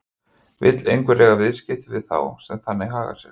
Vill einhver eiga viðskipti við þá sem þannig haga sér?